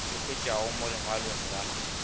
ka hwetšwago mo lengwalong la